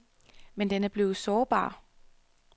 Men den er blevet sårbar.